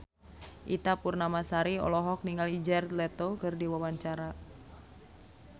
Ita Purnamasari olohok ningali Jared Leto keur diwawancara